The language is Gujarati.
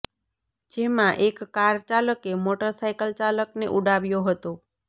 જેમાં એક કાર ચાલકે મોટર સાયકલ ચાલકને ઉડાવ્યો હતો